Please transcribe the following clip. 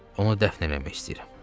Onu dəfn eləmək istəyirəm.